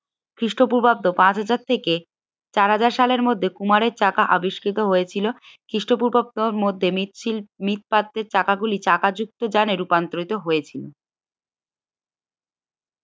খ্রিস্টপূর্বাব্দ পাঁচ হাজার থেকে চার হাজার সালের মধ্যে কুমারের চাকা আবিষ্কৃত হয়েছিল। খ্রিষ্টপূর্বাব্দের মধ্যে মৃৎ সল মৃৎ পাত্রের চাকা গুলি চাকাযুক্ত যানে রুপান্তারিত হয়েছিল।